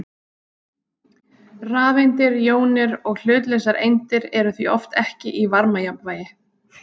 Rafeindir, jónir og hlutlausar eindir eru því oft ekki í varmajafnvægi.